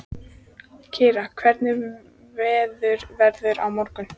Kira, hvernig verður veðrið á morgun?